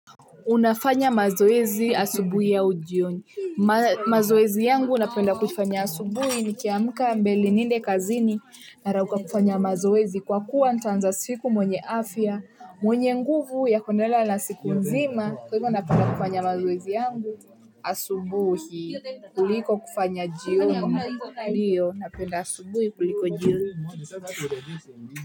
Unafanya mazoezi asubuhi au jioni? Mazoezi yangu napenda kufanya asubuhi nikiamka mbele niende kazini narauka kufanya mazoezi kwa kuwa nitaanza siku mwenye afya, mwenye nguvu ya kuendelea na siku nzima. Kwa hivyo napenda kufanya mazoezi yangu asubuhi, kuliko kufanya jioni ndiyo, napenda asubuhi kuliko jioni.